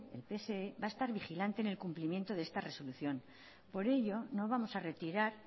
el pse va a estar vigilante en el cumplimiento de esta resolución por ello no vamos a retirar